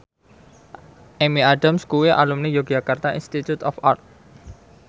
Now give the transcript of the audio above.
Amy Adams kuwi alumni Yogyakarta Institute of Art